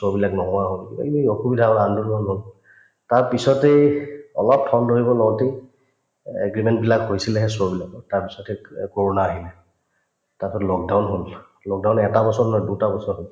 show বিলাক নোহোৱা হল কিবাকিবি অসুবিধা হল আন্দোলনো হৈ গল তাৰপিছতে অলপ ঠন ধৰিব লওঁতে এ agreement বিলাক হৈছিলেহে show বিলাকৰ তাৰপিছত কৰোণা আহিল তাৰপিছত lockdown হল lockdown এটা বছৰ নহয় দুট বছৰ হল